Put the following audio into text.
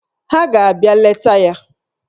Ha ga-abịa leta ya